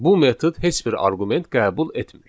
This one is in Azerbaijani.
Bu metod heç bir arqument qəbul etmir.